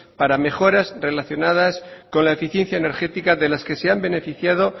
para mejoras relacionadas con la eficiencia energética de las que se han beneficiado